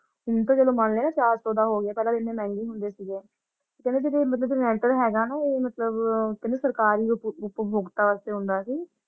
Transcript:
ਠੀਕ ਹੈ ਚਲੋ ਮਾਨ ਲੈਨੇ ਚਾਰ ਸੌ ਦਾ ਹੋਗਿਆ ਪਹਿਲਾ ਇੰਨਾ ਮਹਿੰਗੇ ਹੋਂਦੇ ਸੀਗੇ ਹੈਗਾ ਨਾ ਉਹ ਮਤਲਬ ਕਹਿੰਦੀ ਸਰਕਾਰ ਉਪਉਪਭੋਗਤਾ ਚ ਆਉਂਦਾ ਸੀ ।